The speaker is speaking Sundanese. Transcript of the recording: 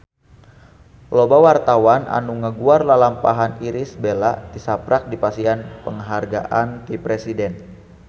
Loba wartawan anu ngaguar lalampahan Irish Bella tisaprak dipasihan panghargaan ti Presiden